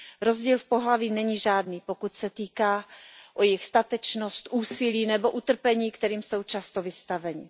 Rozdíl v pohlaví není žádný, pokud se týká jejich statečnosti, úsilí nebo utrpení, kterým jsou často vystaveni.